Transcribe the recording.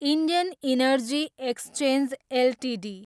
Indian energy exchange Ltd